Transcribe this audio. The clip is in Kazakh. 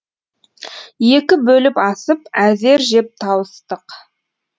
екі бөліп асып әзер жеп тауыстық